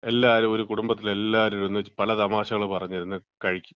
എല്ലാരും ഒരു കുടുംബത്തിലെ എല്ലാരും, ഒന്നിച്ചിരുന്ന് പലതമാശകള് പറഞ്ഞ് ഇരുന്ന് കഴിക്കും.